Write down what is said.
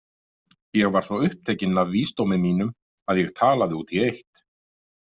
Ég var svo upptekinn af vísdómi mínum að ég talaði út í eitt.